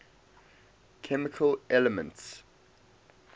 chemical elements